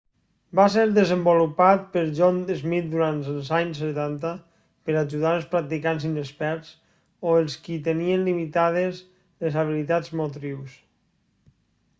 va ser desenvolupat per john smith durant els anys setanta per ajudar els practicants inexperts o els qui tenien limitades les habilitats motrius